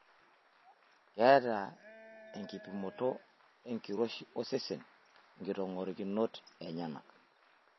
Keeta enkipimoto enkiroshi osesen nkitong'orikinot enyana.